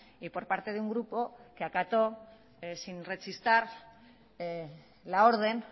y por parte de un grupo que acató sin rechistar la orden